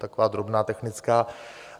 Taková drobná technická.